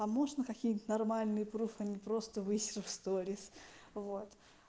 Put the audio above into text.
а можно какие-нибудь нормальные пруфы а не просто высеры в сторис вот